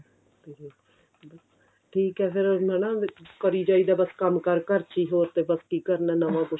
ਠੀਕ ਹੈ ਫਿਰ ਹਣਾ ਕਰੀ ਜਾਈ ਦਾ ਬੱਸ ਕੰਮ ਕਾਰ ਘਰ ਚ ਹੀ ਹੋਰ ਤੇ ਬੱਸ ਕੀ ਕਰਨਾ ਨਵਾਂ ਕੁੱਝ